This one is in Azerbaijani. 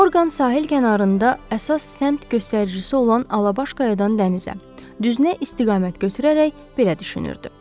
Orqan sahil kənarında əsas səmt göstəricisi olan Alabaş qayadan dənizə düzünə istiqamət götürərək belə düşünürdü.